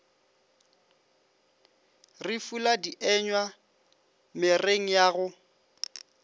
re fula dienywa mereng yago